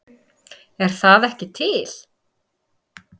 Er það ekki til?